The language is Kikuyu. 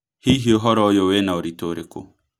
Hihi ũhoro ũyũvwĩna ũrito ũrĩkũ